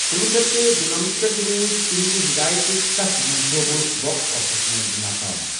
کُنوُہ شیتھ تہٕ دُنمتہٕ پٮ۪ٹھ روٗدۍتہنٛدِ ہٮ۪دایتٕکۍ ستھ منصوٗبہٕ باکس آفسَس منٛز ناکام۔